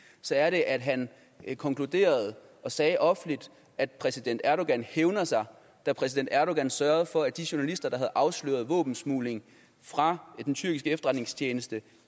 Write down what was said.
så er det at han konkluderede og sagde offentligt at præsident erdogan hævner sig da præsident erdogan sørgede for at de journalister der havde afsløret våbensmugling fra den tyrkiske efterretningstjeneste